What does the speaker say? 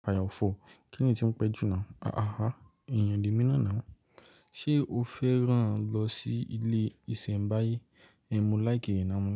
Àyà ọ̀fọ̀, kíni tí n pẹ́ jù náà? Aha, èèyàn le mí nà náà. Ṣé o fẹ́ rán lọ sí ilé ìṣẹ̀nbáyé? Mo láìké iná mọ́